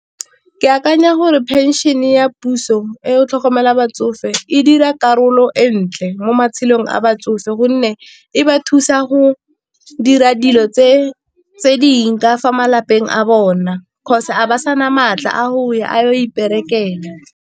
Ke akanya gore phenšene ya puso e o tlhokomela batsofe e dira karolo entle mo matshelong a batsofe, gonne e ba thusa go dira dilo tse ka fa malapeng a bona 'cause Ga ba sana maatla a go ya a yo iperekela.